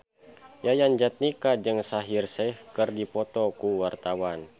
Yayan Jatnika jeung Shaheer Sheikh keur dipoto ku wartawan